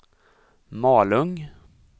Malung